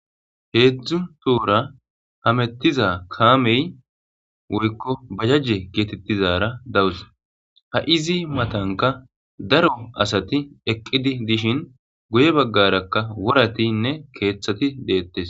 3 tohora hametiza kamey woykko bajaje betetizara dawus. Ha izi matanka daro asat eqid dishn guye bagaraka woratinne kathat detes.